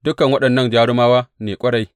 Dukan waɗannan jarumawa ne ƙwarai.